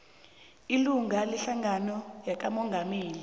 olilunga lehlangano yakamongameli